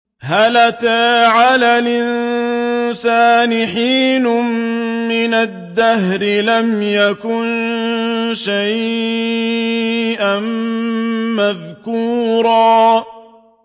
هَلْ أَتَىٰ عَلَى الْإِنسَانِ حِينٌ مِّنَ الدَّهْرِ لَمْ يَكُن شَيْئًا مَّذْكُورًا